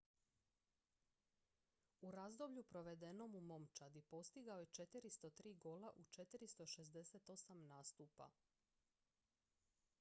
u razdoblju provedenom s momčadi postigao je 403 gola u 468 nastupa